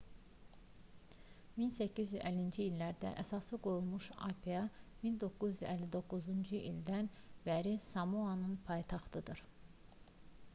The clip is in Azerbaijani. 1850-ci illərdə əsası qoyulmuş apia 1959-cu ildən bəri samoanın paytaxtıdır